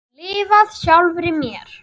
Lifað sjálfri mér.